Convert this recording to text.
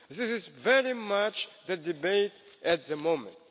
This is very much the debate at the moment.